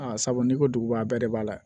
Aa sabu n'i ko duguba bɛɛ de b'a la